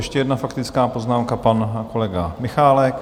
Ještě jedna faktická poznámka, pan kolega Michálek.